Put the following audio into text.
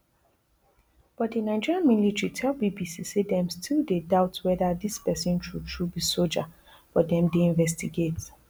but di nigeria military tell bbc say dem still dey doubt weda dis pesin true true be soja but dem dey investigate